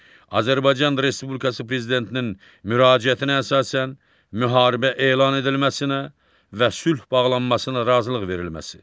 Azərbaycan Respublikası Prezidentinin müraciətinə əsasən müharibə elan edilməsinə və sülh bağlanmasına razılıq verilməsi.